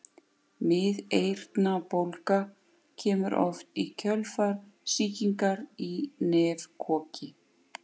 Miðeyrnabólga kemur oft í kjölfar sýkingar í nefkoki.